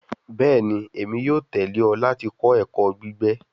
Bẹẹni, Emi yoo tẹle ọ lati kọ ẹkọ gbigbe